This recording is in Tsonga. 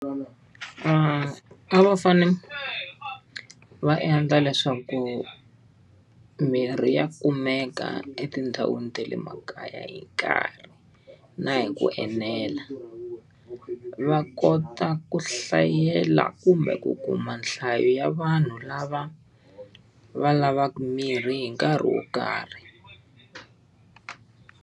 a va fanele va endla leswaku mirhi ya kumeka etindhawini ta le makaya hi nkarhi, na hi ku enela. Va kota ku hlayela kumbe ku kuma nhlayo ya vanhu lava va lavaku mirhi hi nkarhi wo karhi.